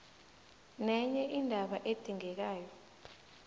nenye indaba edingekako